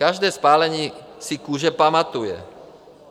Každé spálení si kůže pamatuje.